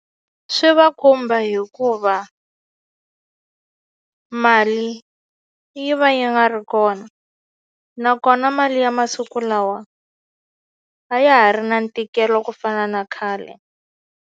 Swi va khumba hikuva mali yi va yi nga ri kona nakona mali ya masiku lawa a ya ha ri na ntikelo ku fana na khale.